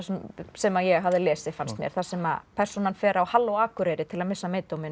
sem ég hafði lesið fannst mér þar sem persónan fer á halló Akureyri til að missa